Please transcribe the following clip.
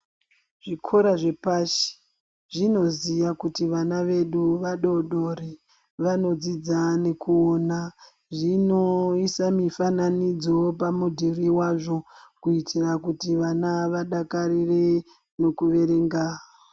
Zvikora zvepashi zvinoziya kuti vana vedu vadodori vanodzidza nekuona ,zvinoisa mifananidzo pamudhuri wazvo kuitira kuti vana vadakarire neokuverenga.